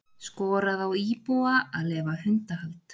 Skorað á íbúa að leyfa hundahald